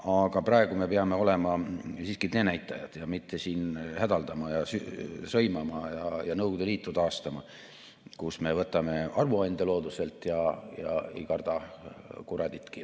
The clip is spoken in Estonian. Aga praegu me peame olema siiski teenäitajad, mitte siin hädaldama ja sõimama ja Nõukogude Liitu taastama, nii et võtame looduselt armuande ja ei karda kuraditki.